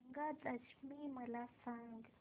गंगा दशमी मला सांग